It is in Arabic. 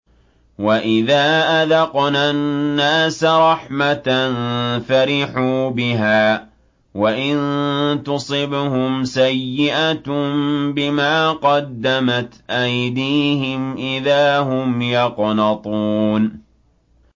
وَإِذَا أَذَقْنَا النَّاسَ رَحْمَةً فَرِحُوا بِهَا ۖ وَإِن تُصِبْهُمْ سَيِّئَةٌ بِمَا قَدَّمَتْ أَيْدِيهِمْ إِذَا هُمْ يَقْنَطُونَ